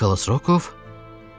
Nikolas Rokoov?